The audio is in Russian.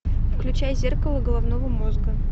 включай зеркало головного мозга